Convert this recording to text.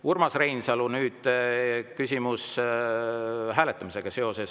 Urmas Reinsalu, nüüd küsimus seoses hääletamisega.